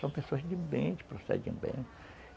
São pessoas de bem, que procedem bem.